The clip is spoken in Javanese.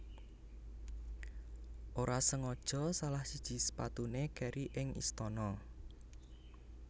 Ora sengaja salah siji sepatuné kèri ing istana